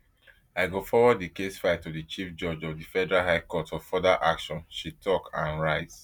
i go forward di case file to di chief judge of di federal high court for further action she tok and rise